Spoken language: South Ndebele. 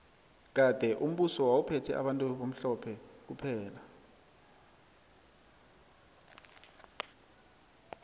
kade umbuso wawu phethe bantu abamhlophe kuphela